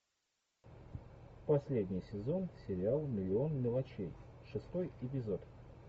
последний сезон сериал миллион мелочей шестой эпизод